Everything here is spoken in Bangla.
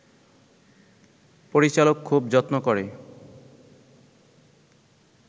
পরিচালক খুব যত্ন করে